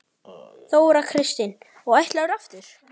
Þóra Kristín: Og ætlarðu aftur?